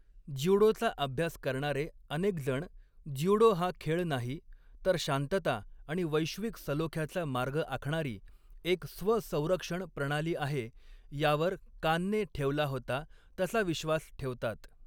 ज्युडोचा अभ्यास करणारे अनेक जण ज्युडो हा खेळ नाही, तर शांतता आणि वैश्विक सलोख्याचा मार्ग आखणारी एक स्व संरक्षण प्रणाली आहे यावर, कानने ठेवला होता, तसा विश्वास ठेवतात.